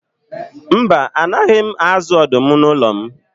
Mba, a naghị m azụ ọdụm n'ụlọ m.